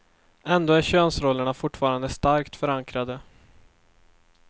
Ändå är könsrollerna fortfarande starkt förankrade.